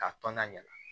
K'a tɔn na ɲɛ